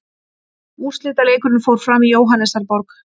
Úrslitaleikurinn fór fram í Jóhannesarborg.